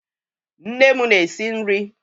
Nne m na-esi nri